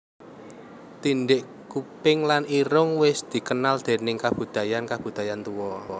Tindhik kuping lan irung wis dikenal déning kabudayan kabudayan tuwa